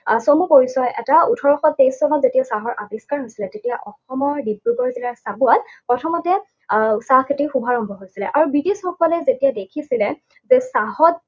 আহ চমু পৰিচয় এটা। ওঠৰশ তেইছ চনত যেতিয়া চাহৰ আৱিষ্কাৰ হৈছিলে, তেতিয়া অসমৰ ডিব্ৰুগড় জিলাৰ চাবুৱাত প্ৰথমতে আহ চাহ খেতিৰ শুভাৰম্ভ হৈছিলে। আৰু ব্ৰিটিছসকলে যেতিয়া দেখিছিলে যে চাহত